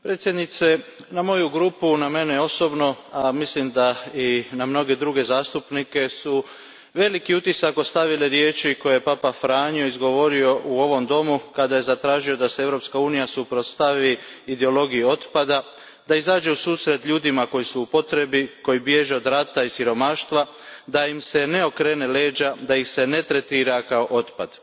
Gospođo predsjednice, na moju grupu, na mene osobno, a mislim da i na mnoge druge zastupnike veliki su utisak ostavile riječi koje je papa Franjo izgovorio u ovom domu kada je zatražio da se Europska unija suprotstavi ideologiji otpada, da izađe u susret ljudima koji su u potrebi, koji bježe od rata i siromaštva, da im se ne okreću leđa, da ih se ne tretira kao otpad.